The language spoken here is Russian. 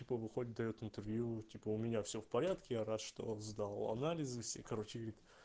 типа выходит даёт интервью типа у меня все в порядке я рад что сдал анализы все и короче говорит